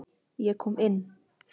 Ég kom inn.